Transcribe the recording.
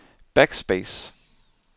backspace